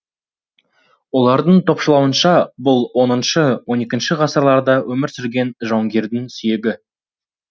олардың топшылауынша бұл х хіі ғасырларда өмір сүрген жауынгердің сүйегі